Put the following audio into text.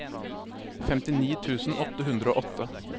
femtini tusen åtte hundre og åtte